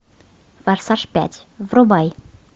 форсаж пять врубай